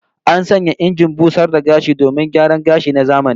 An sanya injin busar da gashi domin gyaran gashi na zamani